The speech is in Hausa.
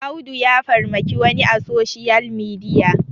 Audu ya farmaki wani a soshiyal midiya